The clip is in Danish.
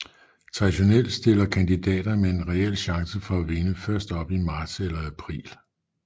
Traditionelt stiller kandidater med en reel chance for at vinde først op i marts eller april